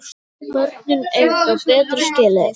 Börnin eiga betra skilið.